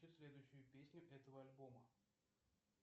включи следующую песню этого альбома